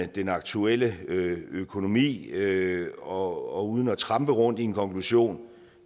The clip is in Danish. den aktuelle økonomi økonomi og uden at trampe rundt i en konklusion